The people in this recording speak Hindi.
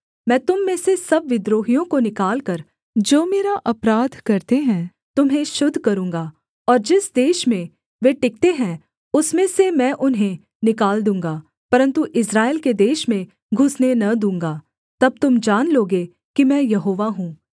मैं तुम में से सब विद्रोहियों को निकालकर जो मेरा अपराध करते है तुम्हें शुद्ध करूँगा और जिस देश में वे टिकते हैं उसमें से मैं उन्हें निकाल दूँगा परन्तु इस्राएल के देश में घुसने न दूँगा तब तुम जान लोगे कि मैं यहोवा हूँ